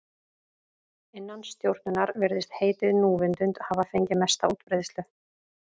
Innan stjórnunar virðist heitið núvitund hafa fengið mesta útbreiðslu.